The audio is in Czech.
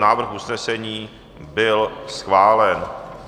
Návrh usnesení byl schválen.